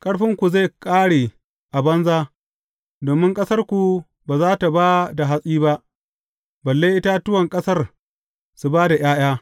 Ƙarfinku zai ƙare a banza domin ƙasarku ba za tă ba da hatsi ba, balle itatuwan ƙasar su ba da ’ya’ya.